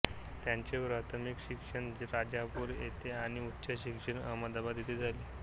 त्यांचे प्राथमिक शिक्षण राजापूर येथे आणि उच्च शिक्षण अहमदाबाद येथे झाले